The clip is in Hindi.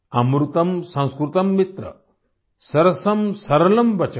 अमृतम् संस्कृतम् मित्र सरसम् सरलम् वचः